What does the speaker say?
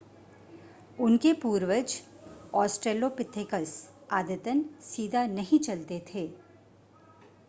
उनके पूर्वज ऑस्ट्रलोपिथेकस आदतन सीधा नहीं चलते थे